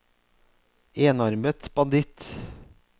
enarmet banditt